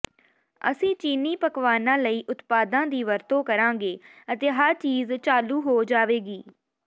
ਅਸੀਂ ਚੀਨੀ ਪਕਵਾਨਾਂ ਲਈ ਉਤਪਾਦਾਂ ਦੀ ਵਰਤੋਂ ਕਰਾਂਗੇ ਅਤੇ ਹਰ ਚੀਜ਼ ਚਾਲੂ ਹੋ ਜਾਵੇਗੀ